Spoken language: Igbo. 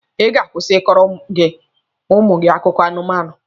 Ị ga-akwụsị ịkọrọ ụmụ gị akụkọ anụmanụ!